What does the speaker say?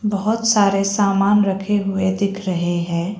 बहुत सारे सामान रखे हुए दिख रहे हैं।